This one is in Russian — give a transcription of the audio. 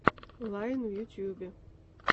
лайн в ютубе